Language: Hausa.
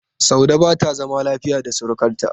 Saude ba ta zama lafiya da surukarta.